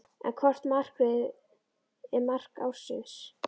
En hvort markið er mark ársins?